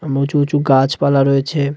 এবং উঁচু উঁচু গাছপালা রয়েছে.